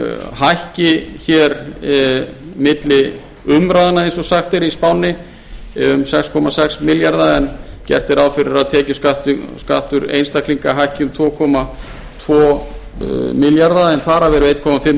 hækki milli umræðna eins og sagt er í spánni um sex komma sex milljarða en gert er ráð fyrir að tekjuskattur einstaklinga hækki um tvö komma tvo milljarða en þar af eru eitt komma eitt